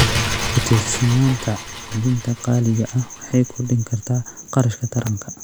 Ku tiirsanaanta quudinta qaaliga ah waxay kordhin kartaa kharashka taranka.